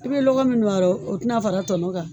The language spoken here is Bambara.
I bɛ lɔgɔ min ma dɛ o tɛ na fara tɔnɔ kan.